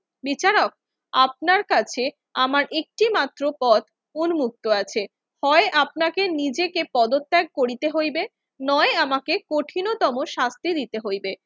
বিচারক, আপনার কাছে আমার একটিমাত্র পথ উন্মুক্ত আছে। হয় আপনাকে নিজেকে পদত্যাগ করিতে হইবে নয় আমাকে কঠিনতম শাস্তি দিতে হইবে।